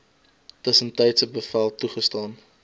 tussentydse bevel toegestaan